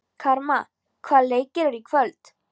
Karma, hvaða leikir eru í kvöld?